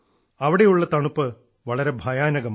അവിടെയുള്ള തണുപ്പ് വളരെ ഭയാനകമാണ്